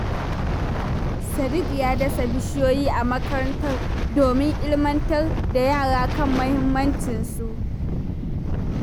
Sadiq ya dasa bishiyoyi a makaranta don ilmantar da yara kan mahimmancin su.